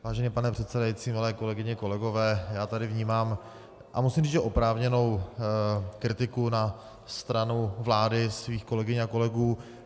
Vážený pane předsedající, milé kolegyně, kolegové, já tady vnímám, a musím říct že oprávněnou, kritiku na stranu vlády, svých kolegyň a kolegů.